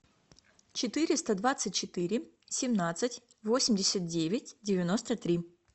четыреста двадцать четыре семнадцать восемьдесят девять девяносто три